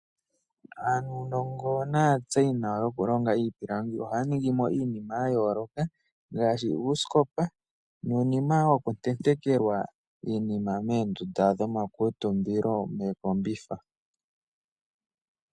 Aanongo naa tseyinawa yokulonga iipilangi oha ya ningimo iinima ya yooloka ngaaashi uusikopa nuunima woo woku tetenkelwa iinima moondunda dho ma kuutumbilo mookombitha.